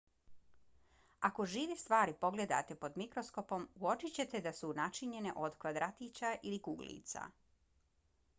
ako žive stvari pogledate pod mikroskopom uočićete da su načinjene od kvadratića ili kuglica